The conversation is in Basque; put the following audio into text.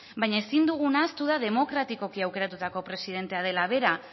baina ezin duguna ahaztu da demokratikoki aukeratutako presidentea dela bera